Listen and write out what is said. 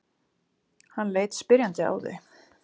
Hann leit spyrjandi á þau.